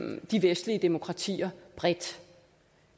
med de vestlige demokratier bredt